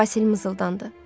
Basil mızıldandı.